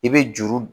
I bɛ juru